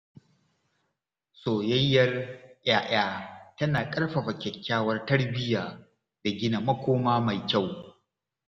Soyayyar ‘ya’ya tana ƙarfafa kyakkyawar tarbiyya da gina makoma mai kyau.